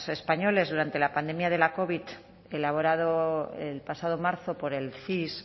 españoles durante la pandemia de la covid elaborado el pasado marzo por el cis